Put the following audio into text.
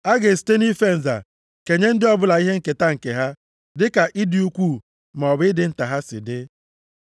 A ga-esite nʼife nza kenye ndị ọbụla ihe nketa nke ha dịka ịdị ukwuu maọbụ ịdị nta ha si dị.”